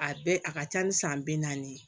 A bɛɛ a ka ca ni san bi naani ye